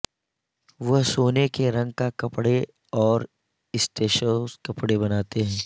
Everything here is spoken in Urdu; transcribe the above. وہ سونے کے رنگ کا کپڑے اور اسسٹیسوس کپڑے بناتے ہیں